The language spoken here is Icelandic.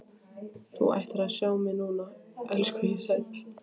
Þú ættir að sjá mig núna, elskhugi sæll.